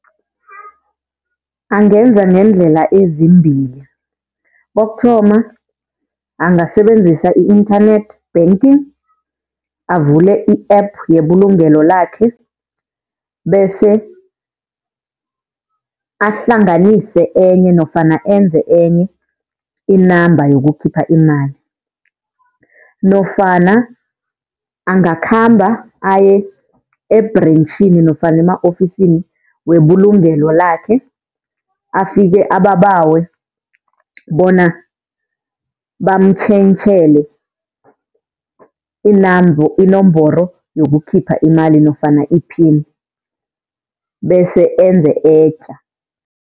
Angenza ngendlela ezimbili. Kokuthoma, angasebenzisa i-internet banking avule i-app yebulugelo lakhe, bese ahlanganise enye nofana enze enye i-number yokukhipha imali. Nofana angakhamba aye-ebhrentjhini nofana ema-ofisini webulugelo lakhe, afike ababawe bona bamutjhentjhele inomboro yokukhipha imali nofana i-pin bese enze etja.